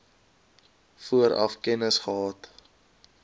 vooraf kennis gehad